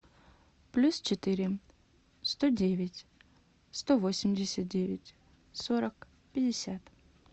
плюс четыре сто девять сто восемьдесят девять сорок пятьдесят